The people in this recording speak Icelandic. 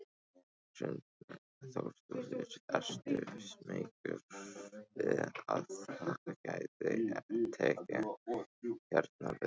Hrund Þórsdóttir: Ertu smeykur við hvað gæti tekið hérna við?